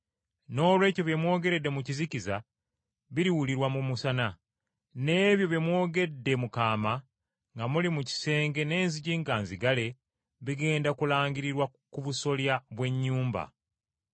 Noolwekyo bye mwogeredde mu kizikiza biriwulirwa mu musana, n’ebyo bye mwogedde mu kaama, nga muli mu kisenge n’enzigi nga nzigale, bigenda kulangirirwa ku busolya bw’ennyumba.